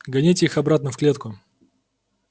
гоните их обратно в клетку